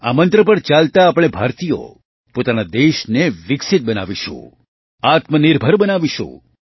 આ મંત્ર પર ચાલતાં આપણે ભારતીયો પોતાના દેશને વિકસિત બનાવીશું આત્મનિર્ભર બનાવીશું